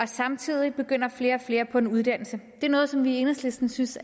samtidig begynder flere og flere på en uddannelse det er noget som vi i enhedslisten synes